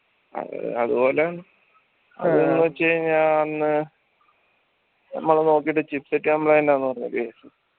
അഹ് അതുപോലെ അന്ന് മ്മള് നോക്കീട്ട് chipset complaint ആന്ന് പറഞ്ഞത്